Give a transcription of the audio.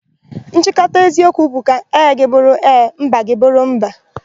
Nchịkọta eziokwu bụ 'ka ee gị bụrụ ee na mba gị bụrụ mba',